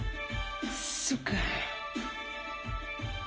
сука